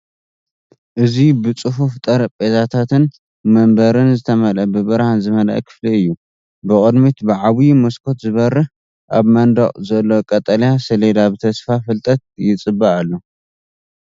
እዚ ብጽፉፍ ጠረጴዛታትን መንበርን ዝተመልአ ብብርሃን ዝመልአ ክፍሊ እዩ። ብቕድሚት ብዓቢ መስኮት ዝበርሀ። ኣብ መንደቕ ዘሎ ቀጠልያ ሰሌዳ ብተስፋ ፍልጠት ይጽበ ኣሎ።